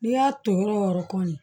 N'i y'a ton yɔrɔ yɔrɔ kɔni